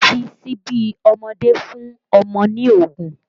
Fi síbí ọmọdé fún ọmọ ní oògùn